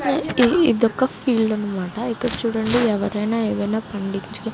ఇదొక ఫీల్డ్ అనమాట ఇక్కడ ఎవరైనా ఏదైనా పండించ --